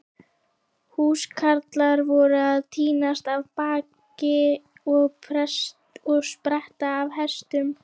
Húskarlar voru að tínast af baki og spretta af hestum.